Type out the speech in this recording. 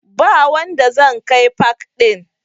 Ba wanda zan kai pak ɗin